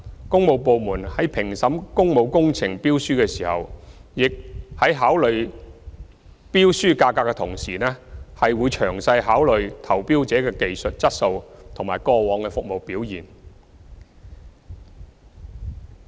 工務部門在評審工務工程標書時，在考慮標書價格的同時，會詳細考慮投標者的技術質素及過往服務表現。